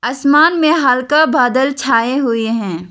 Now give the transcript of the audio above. आसमान में हल्का बादल छाए हुए हैं।